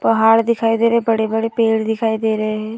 पहाड़ दिखाई दे रहे हैं। बड़े-बड़े पेड़ दिखाई दे रहे हैं।